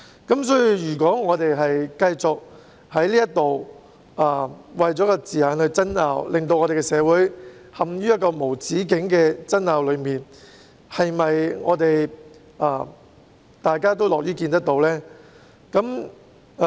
因此，如果我們繼續為了字眼而爭拗，令香港社會陷入無止境的爭拗，這是否大家樂於見到的呢？